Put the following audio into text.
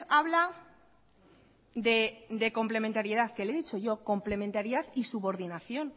habla de complementariedad que le he dicho yo complementariedad y subordinación